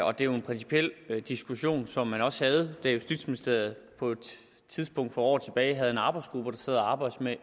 og det er jo en principiel diskussion som man også havde da justitsministeriet på et tidspunkt for år tilbage havde en arbejdsgruppe der sad og arbejdede med